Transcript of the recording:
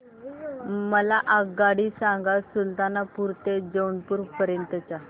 मला आगगाडी सांगा सुलतानपूर ते जौनपुर पर्यंत च्या